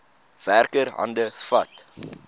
werker hande vat